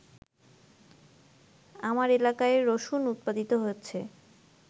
আমার এলাকায় রসুন উৎপাদিত হচ্ছে।